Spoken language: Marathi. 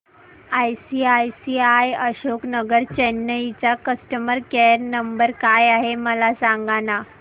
आयसीआयसीआय अशोक नगर चेन्नई चा कस्टमर केयर नंबर काय आहे मला सांगाना